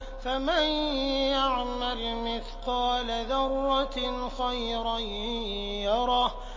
فَمَن يَعْمَلْ مِثْقَالَ ذَرَّةٍ خَيْرًا يَرَهُ